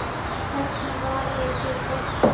Helst með varalit líka.